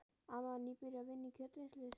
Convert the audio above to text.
Amma var nýbyrjuð að vinna í kjötvinnslustöð.